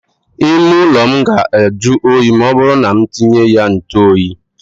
Ime ụlọ m ga ajụ oyi ma ọ bụrụ ma m tinye ya ntụ oyi.